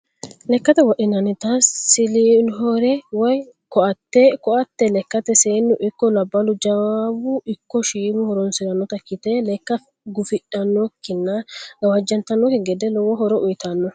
Lekate wodhinannitta siliohere woyi koate, koate lekkate seenu ikko labalu jawu ikko shiimu horonsiranotta ikkite lekka gufidhanokkinna gawaja'ntanokki gede lowo horo uuyitanno